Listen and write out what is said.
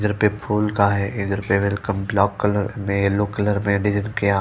घर पे फूल का है इधर ब्लैक कलर में येलो कलर में यहां--